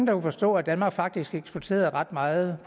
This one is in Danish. kunne forstå at danmark faktisk eksporterede ret meget